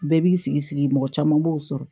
Bɛɛ b'i sigi mɔgɔ caman b'o sɔrɔ